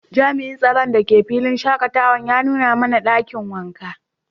jami'in tsaron da ke filin shakatawar ya nuna mana dakin wanka.